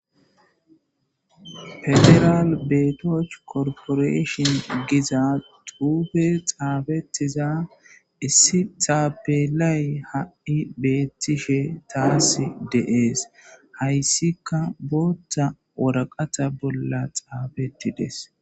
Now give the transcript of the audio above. federal beetoch korporashon giza duube xaabetiza issi taapelay ha7i beettishe taas deees hayssika bootta woraqata bolla xaabettides